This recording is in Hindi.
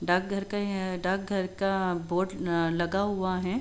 डाकघर का यह डाकघर का बोर्ड न लगा हुआ है।